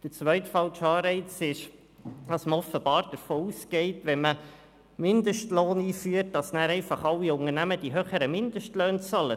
Der zweite falsche Anreiz ist, dass man offenbar davon ausgeht, es würden dann einfach alle Unternehmen die höheren Mindestlöhne bezahlen, wenn man einen Mindestlohn einführt.